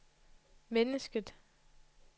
mennesket